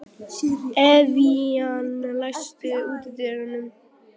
Evían, læstu útidyrunum.